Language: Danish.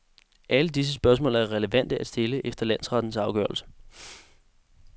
Alle disse spørgsmål er relevante at stille efter landsrettens afgørelse.